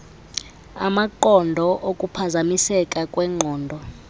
amaqondo okuphazamiseka kweengqondo